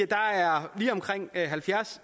der er lige omkring halvfjerds